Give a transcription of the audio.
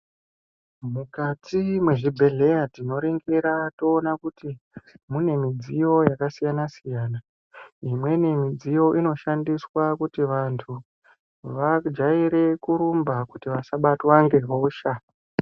Mukati mwezvibhedhleya tinoningira toona kuti mune midziyo yakasiyana-siyana. Imweni midziyo inoshandiswa kuti vantu vajaire kurumba kuti vasabatwe nehosha.